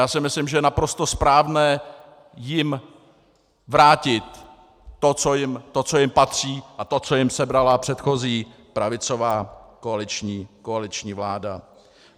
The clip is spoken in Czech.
Já si myslím, že je naprosto správné jim vrátit to, co jim patří, a to, co jim sebrala předchozí pravicová koaliční vláda.